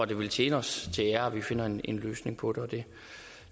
det vil tjene os til ære at vi finder en en løsning på